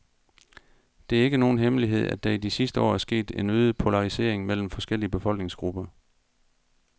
Det er ikke nogen hemmelighed, at der i de sidste år er sket en øget polarisering mellem forskellige befolkningsgrupper.